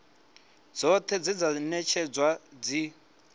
dzoṱhe dze dza ṅetshedzwa dzi